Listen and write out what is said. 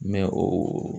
Mɛ o